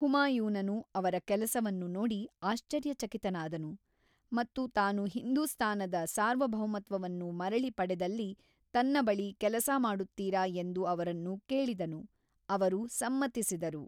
ಹುಮಾಯೂನನು ಅವರ ಕೆಲಸವನ್ನು ನೋಡಿ ಆಶ್ಚರ್ಯಚಕಿತನಾದನು ಮತ್ತು ತಾನು ಹಿಂದೂಸ್ತಾನದ ಸಾರ್ವಭೌಮತ್ವವನ್ನು ಮರಳಿ ಪಡೆದಲ್ಲಿ ತನ್ನ ಬಳಿ ಕೆಲಸ ಮಾಡುತ್ತೀರಾ ಎಂದು ಅವರನ್ನು ಕೇಳಿದನು: ಅವರು ಸಮ್ಮತಿಸಿದರು.